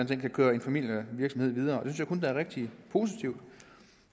kan køre en familievirksomhed videre og det jeg kun er rigtig positivt